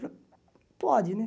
Pode, né?